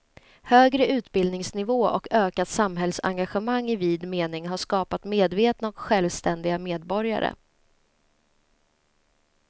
Högre utbildningsnivå och ökat samhällsengagemang i vid mening har skapat medvetna och självständiga medborgare.